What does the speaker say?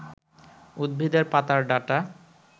উদ্ভিদের পাতার ডাঁটা